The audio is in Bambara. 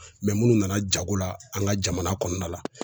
munnu nana jago la an ka jamana kɔnɔna la.